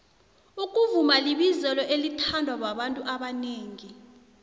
ukuvuma libizelo elithandwa babantu abanengi